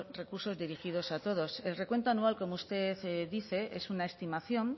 recursos dirigidos a todos el recuento anual como usted dice es una estimación